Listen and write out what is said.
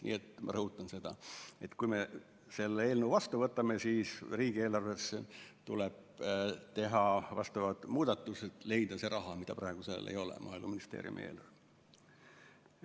Nii et ma rõhutan seda: kui me selle eelnõu vastu võtame, siis riigieelarvesse tuleb teha vastavad muudatused ja leida see raha, mida praegu seal ei ole, Maaeluministeeriumi eelarves.